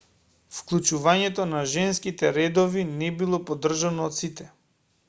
вклучувањето на женските редови не било поддржано од сите